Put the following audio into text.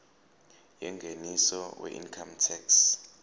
yengeniso weincome tax